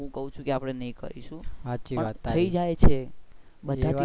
હું કાઉ છું કે આપડે નહિ કરીશુ પણ થઇ જાય છે.